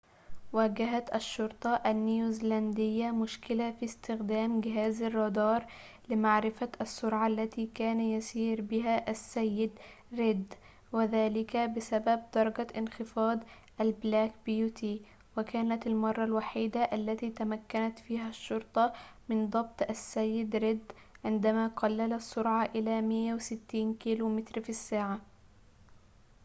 واجهت الشرطة النيوزيلندية مشكلةً في استخدام جهاز الرادار لمعرفة السرعة التي كان يسير بها السيد/ ريد"، وذلك بسبب درجة انخفاض البلاك بيوتي". وكانت المرة الوحيدة التي تمكنت فيها الشرطة من ضبط السيد/ ريد عندما قلل السرعة إلى 160 كيلومتر في ساعة